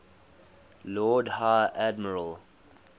lord high admiral